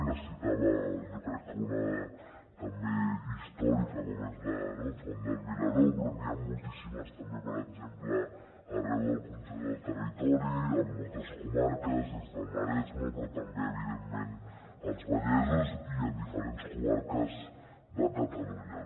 se’n citava jo crec que una també històrica com és el bosc d’en vilaró però n’hi ha moltíssimes també per exemple arreu del conjunt del territori en moltes comarques des del maresme però també evidentment als vallesos i en diferents comarques de catalunya